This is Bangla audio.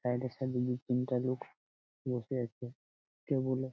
সাইড -এ সাইড -এ দু তিনটে লোক বসে আছে। কেউ বলে--